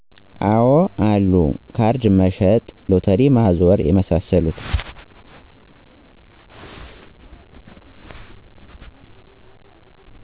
አወ አሉ ካርድ መሸጥ ሎተሪ ማዞር የመሳሰሉት